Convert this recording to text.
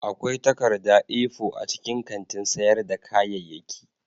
Akwai takarda A4 a cikin kantin sayar da kayayyaki